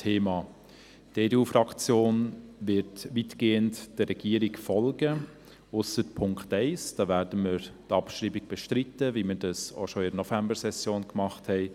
Die EDU-Fraktion wird weitgehend der Regierung folgen, ausser beim Punkt 1. Dort werden wir die Abschreibung bestreiten, wie wir dies bereits in der Novembersession getan haben.